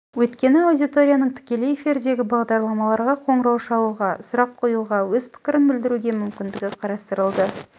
өйткені аудиторияның тікелей эфирдегі бағдарламаға қоңырау шалуға сұрақ қоюға өз пікірін білдіруге мүмкіндігі қарастырылды